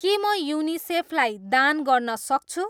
के म युनिसेफ लाई दान गर्न सक्छु?